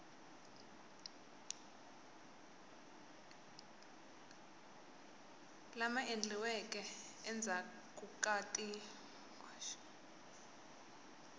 lama endliweke endzhaku ka ti